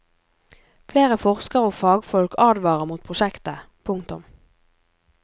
Flere forskere og fagfolk advarer mot prosjektet. punktum